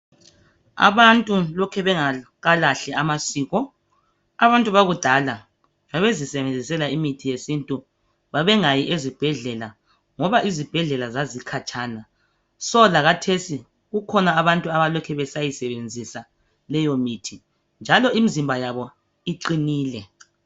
Abantu lokhe bengakalahli amasiko, abantu bakudala babezisebenzisela imithi yesintu, babengayi ezibhedlela ngoba izibhedlela zazikhatshana. Lakhathesi kukhona abantu abalokhe besayisebenzisa leyo mithi, imizimba yabo iqinile.